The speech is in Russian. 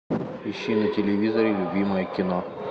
ищи на телевизоре любимое кино